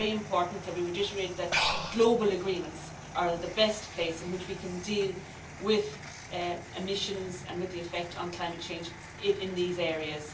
So it is very important that we reiterate that global agreements are the best place in which to deal with emissions and with the effect on climate change in these areas.